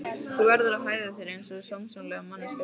Þú verður að hegða þér einsog sómasamleg manneskja stelpa.